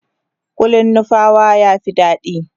kullin nupawa ya Fi daɗi